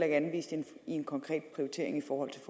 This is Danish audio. anvist i en konkret prioritering i forhold